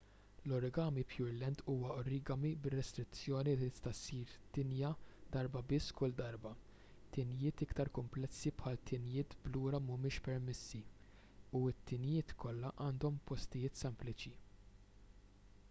l-origami pureland huwa origami bir-restrizzjoni li tista' ssir tinja darba biss kull darba tinjiet iktar kumplessi bħal tinjiet b'lura mhumiex permessi u t-tinjiet kollha għandhom postijiet sempliċi